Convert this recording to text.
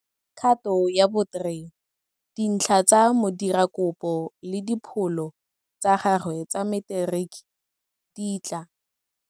Kgato ya bo 3, dintlha tsa modirakopo le dipholo tsa gagwe tsa materiki di tla.